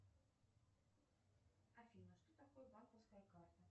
афина что такое банковская карта